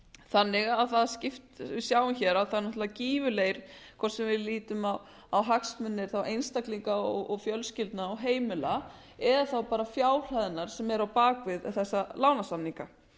þannig að við sjáum að það eru gífurlegir hvort sem við lítum á hagsmuni einstaklinga fjölskyldna og heimila eða þá bara fjárhæðirnar sem eru á bak við þessa lánasamninga